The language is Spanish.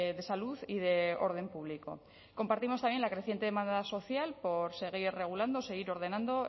de salud y de orden público compartimos también la creciente demanda social por seguir regulando seguir ordenando